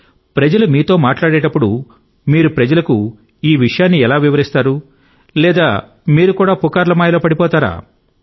ప్రజలు మీతో మాట్లాడేటప్పుడు మీరు ప్రజలకు ఈ విషయాన్ని ఎలా వివరిస్తారు లేదా మీరు కూడా పుకార్ల మాయలో పడిపోతారా